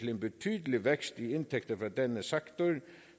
en betydelig vækst i indtægter for denne sektor